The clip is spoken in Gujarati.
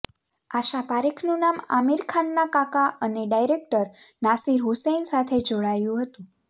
આશા પારેખનું નામ આમિર ખાનના કાકા અને ડાયરેક્ટર નાસિર હુસૈન સાથે જોડાયું હતું